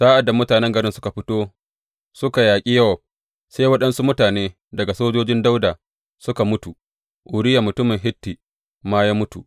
Sa’ad da mutanen garin suka fito suka yaƙi Yowab, sai waɗansu mutane daga sojojin Dawuda suka mutu; Uriya mutumin Hitti ma ya mutu.